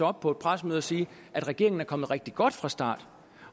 op på et pressemøde og siger at regeringen er kommet rigtig godt fra start